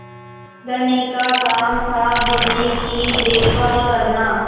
धनी का काम थाबिन्नी की देखभाल करना